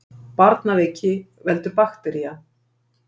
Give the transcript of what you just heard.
Barnaveiki veldur baktería.